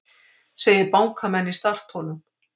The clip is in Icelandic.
Segir bankamenn í startholum